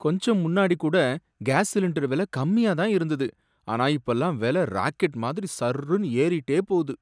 கொஞ்சம் முன்னாடி கூட கேஸ் சிலிண்டர் வில கம்மியா தான் இருந்தது, ஆனா இப்பல்லாம் விலை ராக்கெட் மாதிரி சர்ர்னு ஏறிட்டே போகுது.